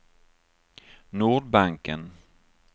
Nordbanken